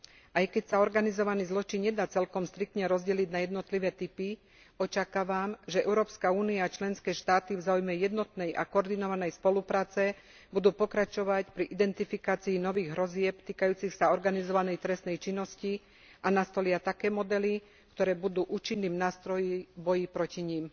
Aj keď sa organizovaný zločin nedá celkom striktne rozdeliť na jednotlivé typy, očakávam, že Európska únia a členské štáty v záujme jednotnej a koordinovanej spolupráce budú pokračovať pri identifikácii nových hrozieb týkajúcich sa organizovanej trestnej činnosti a nastolia také modely, ktoré budú účinným nástrojom boja proti nim.